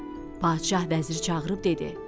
Padşah vəziri çağırıb dedi: